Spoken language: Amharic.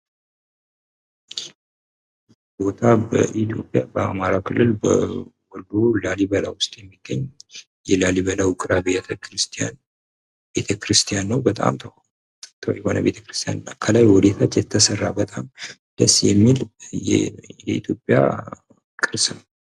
ቦታው በአማራ ክልል የሚገኝ። ላሊበላ የሚባል እጅግ ያማረ አና ወደታች የተሰራ እጅግ የሚያምር ቅርስ ነው።